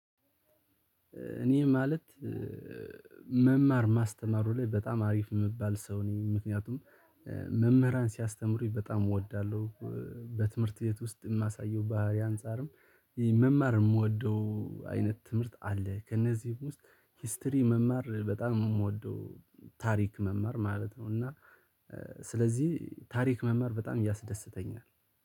እኔ ማለት መማር ማስተማሩ ላይ በጣም አሪፍ የምባል ሰው ነኝ። ምክንያቱም መምህራን ሲያስተምሩኝ በጣም እወዳለሁ። በትምህርት ቤት ውስጥ የማሳየው ባህሪ አንፃርም መማር የምወደው አይነት ትምህርት አለ። ከእነዚህ ውስጥ ሂስትሪ መማር በጣም የምወደው ታሪክ መማር ማለት ነው። እና ሥለዚህ ታሪክ መማር በጣም ያስደሰተኝ ነው።